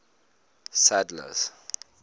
sadler's